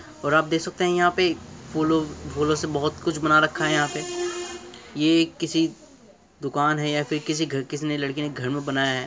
और आप देख सकते है यहाँ पे फूलो - फूलों से बहुत कुछ बना रखा है | यहाँ पे ये एक किसी दुकान है या फिर किसी घ- या फिर किसी लड़की ने घर पे बनाया है ।